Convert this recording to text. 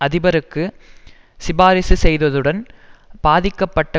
அதிபருக்கு சிபாரிசு செய்ததுடன் பாதிக்கப்பட்ட